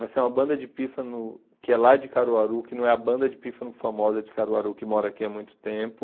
Vai sair uma banda de pífano que é lá de Caruaru, que não é a banda de pífano famosa de Caruaru, que mora aqui há muito tempo.